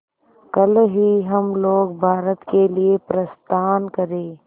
कल ही हम लोग भारत के लिए प्रस्थान करें